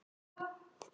Hann er að föndra.